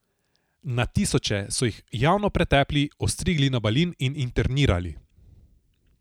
Na tisoče so jih javno pretepli, ostrigli na balin in internirali.